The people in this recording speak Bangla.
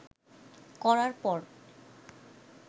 করার পর